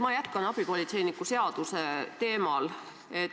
Ma jätkan abipolitseiniku seaduse teemal.